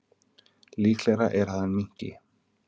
Líklegra er að hann minnki.